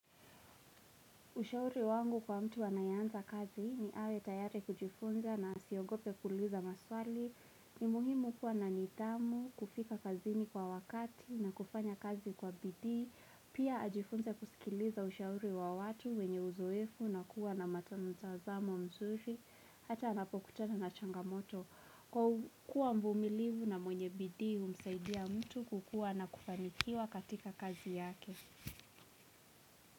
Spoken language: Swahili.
Ushauri wangu kwa mtu anayeanza kazi ni awe tayari kujifunza na asiogope kuuliza maswali. Ni muhimu kuwa na nithamu, kufika kazini kwa wakati na kufanya kazi kwa bidii. Pia ajifunze kusikiliza ushauri wa watu wenye uzoefu na kuwa na matam mtazamo mzuri. Hata anapokutatana na changamoto. Kwa kuwa mvumilivu na mwenye bidii humsaidia mtu kukuwa na kufanikiwa katika kazi yake.